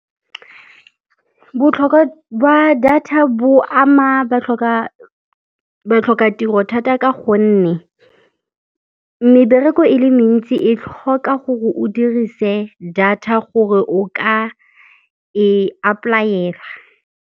Botlhokwa ba data bo ama batlhoka-tiro thata ka gonne mebereko e le mentsi e tlhoka gore o dirise data gore o ka e apply-aela.